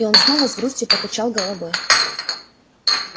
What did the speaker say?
и он снова с грустью покачал головой